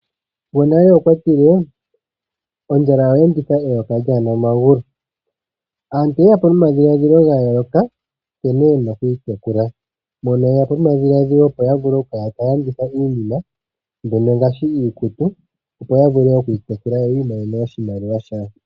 Gonale okwatile ondjala oyeenditha eyoka lyaana omagulu. Aantu oyeyapo nomadhiladhilo gayooloka nkene yena okwiitekula. Mpono yeyapo nomadhiladhilo opo yavule okukala taalanditha iinima mbyono ngaashi iikutu yoyavule okwiitekula yoyiimonene oshimaliwa shawo.